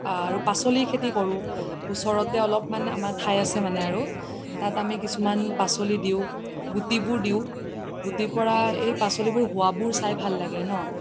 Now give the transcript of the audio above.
আৰু পাচলি খেতি কৰো ওচৰতে অলপ মান ঠাই আছে মানে আৰু তাত আমি কিছুমান পাচলি দিও গুতিবোৰ দিও গুতিৰ পৰাই এই পাচলি বোৰ হুৱাবোৰ চাই ভাল লাগে ন